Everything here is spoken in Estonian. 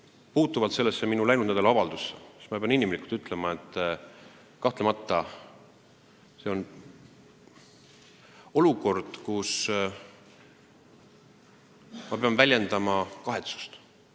Mis puutub minu läinud nädala avaldusse, siis ma pean ütlema, et kahtlemata on see olukord, kus ma pean väljendama kahetsust.